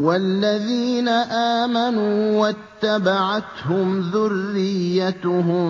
وَالَّذِينَ آمَنُوا وَاتَّبَعَتْهُمْ ذُرِّيَّتُهُم